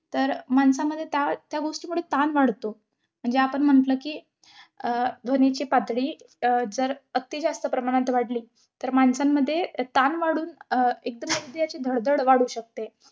तर माणसामध्ये त्या, त्या गोष्टीमुळे ताण वाढतो. म्हणजे आपण म्हंटल कि, अं ध्वनीची पातळी, अं जर अती जास्त प्रमाणत वाढली, तर माणसांमध्ये ताण वाढून अं एकदम हृदयाची धडधड वाढू शकते.